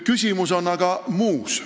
Küsimus on muus.